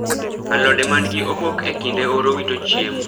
alode man gi obok e kinde oro wito chiemo